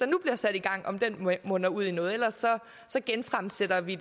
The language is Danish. nu bliver sat i gang munder ud i noget ellers genfremsætter vi